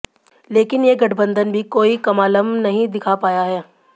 लेकिन ये गठबंधन भी कोई क्माल्म नहीं दिखा पाया है